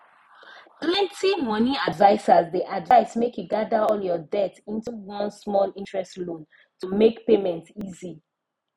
plenty money advisers dey advise make you gather all your debt into one smallinterest loan to make payment easy